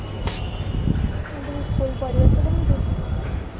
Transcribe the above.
ଆଉ ତମ school ପରିବେଶ କେମିତି